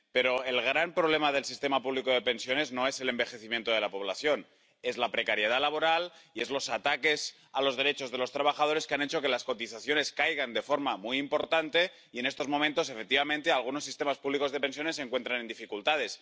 Pero el gran problema del sistema público de pensiones no es el envejecimiento de la población es la precariedad laboral y son los ataques a los derechos de los trabajadores, que han hecho que las cotizaciones caigan de forma muy importante y en estos momentos, efectivamente, algunos sistemas públicos de pensiones se encuentren en dificultades.